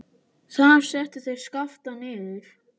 Þar settu þeir Skapta niður.